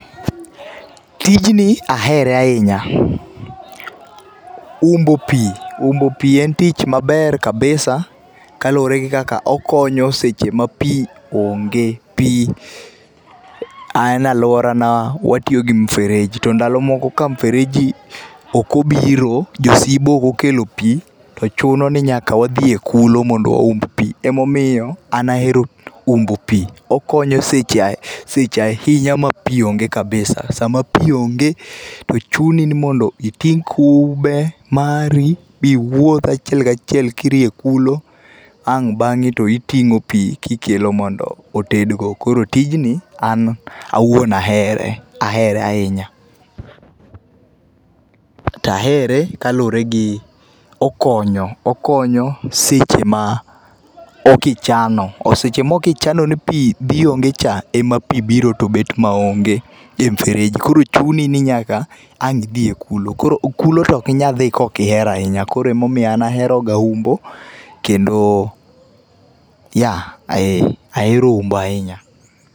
Tijni ahere ahinya, umbo pii, umbo pii en tich maber kabisa kaluore gi kaka okonyo e seche ma pii onge. Pii an e aluorana watiyo gi mfereji to ndalo moko ka mfereji ok obiro, jo Sibo ok okelo pii to chuno ni nyaka wadhi e kulo mondo wa umb pii ema omiyo an ahero umbo pii. Okonyo e seche ahinya ma pii onge kabisa, sama pii onge to chuni mondo iting kube mari miwuoth achiel kachiel kirie kulo ang bange to itingo pii kikelo mondo oted go. Koro tijni an owuon ahere, ahere ahinya. Tahere kaluore gi okonyo, okonyo seche ma okichano ,seche mokichano ni pii dhi onge cha ema pii biro to bet maonge e mfereji koro chuni ni nyaka ang idhi e kulo. Kulo to ok inyal dhi kaok ihero ahinya, koro ema omiyo an ahero ga umbo kendo ,yeah, eeh, ahero umbo ahinya